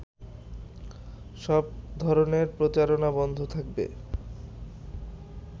সব ধরনের প্রচারণা বন্ধ থাকবে